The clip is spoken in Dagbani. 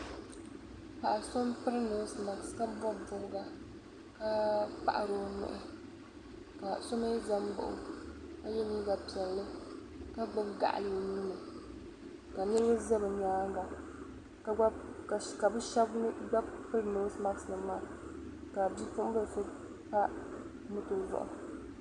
Paɣi sɔ npri nosemat ka bɔbi bɔbiga, ka paɣiri onuhi ka somi zan baɣɔ, ka ye liiga piɛli ka gbubi gaɣili onuuni, kanirib za bi nyaaŋa, kabishab gba piri nose mat maa ka bipuɣi bilisɔ gba pa mɔtɔzuɣu.